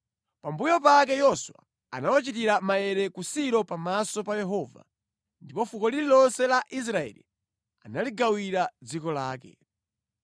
Pambuyo pake Yoswa anawachitira maere ku Silo pamaso pa Yehova, ndipo fuko lililonse la Israeli analigawira dziko lake.